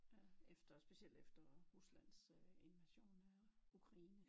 Efter specielt efter Ruslands invasion af Ukraine